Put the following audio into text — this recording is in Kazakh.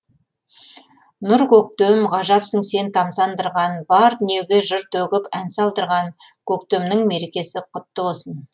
нұр көктем ғажапсың сен тамсандырған бар дүниеге жыр төгіп ән салдырған көктемнің мерекесі құтты болсын